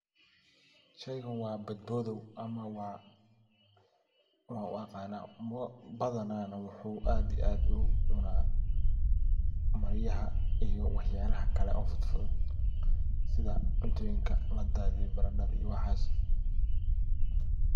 Sheygan waa badbodow ama waxan u aqana waa baadhana wuu aad iyo aad u cunaa maryaha iyo wax yalaha kale ee fudfudhud sidha cuntoyinka ladadhiye baradadha iyo waxas.